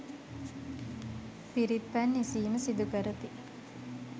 පිරිත් පැන් ඉසීම සිදු කරති.